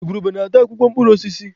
Igwurube na-ata akwụkwọ mkpụrụ osisi.